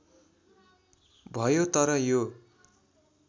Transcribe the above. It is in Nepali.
भयो तर यो